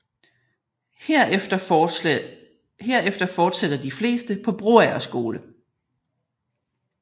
Herefter fortsætter de fleste på Broager Skole